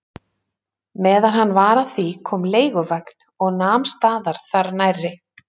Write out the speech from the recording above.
Meðan hann var að því kom leiguvagn og nam staðar þar nærri.